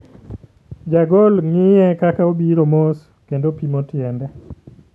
Jagol ng'iye kaka obiro mos, kendo pimo tiende.